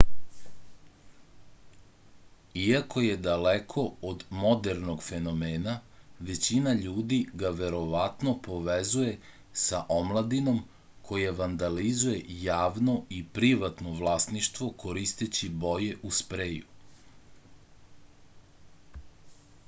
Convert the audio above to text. iako je daleko od modernog fenomena većina ljudi ga verovatno povezuje sa omladinom koja vandalizuje javno i privatno vlasništvo koristeći boje u spreju